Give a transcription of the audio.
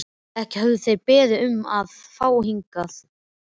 Ekki höfðu þeir beðið um að fá að koma hingað.